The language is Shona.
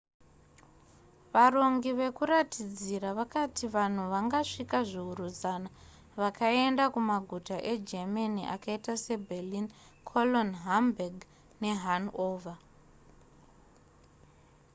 varongi vekuratidzira vakati vanhu vangasvika zviuru zana vakaenda kumaguta egermany akaita se berlin cologne hamburg ne hanover